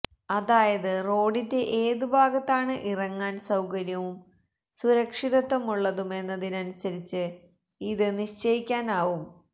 അതായത് റോഡിന്റെ ഏത് ഭാഗത്താണ് ഇറങ്ങാൻ സൌകര്യവും സുരക്ഷിതത്വമുള്ളതു മെന്നതിനനുസരിച്ച് ഇത് നിശ്ചയിക്കാനാവും